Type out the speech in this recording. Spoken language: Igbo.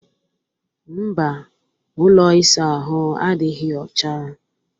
Mba, ụlọ ịsa ahụ adịghị ọcha